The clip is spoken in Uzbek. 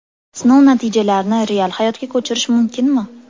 Sinov natijalarini real hayotga ko‘chirish mumkinmi?